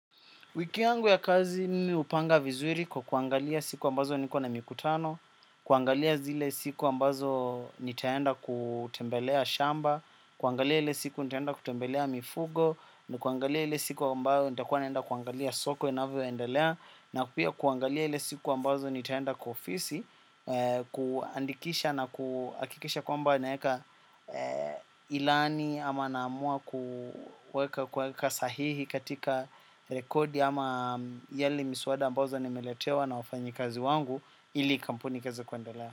Wiki yangu ya kazi mimi hupanga vizuri kwa kuangalia siku ambazo niko na mikutano, kuangalia zile siku ambazo nitaenda kutembelea shamba, kuangalia ili siku nitaenda kutembelea mifugo, na kuangalia ile siku ambayo nitakua naenda kuangalia soko inavyo endelea, na pia kuangalia ile siku ambazo nitaenda kwa ofisi, kuandikisha na kuhakikisha kwamba naeka ilani ama naamua kuweka kueka sahihi katika rekodi ama yale miswada ambazo nimeletewa na wafanyikazi wangu ili kampuni ikaeze kuendelea.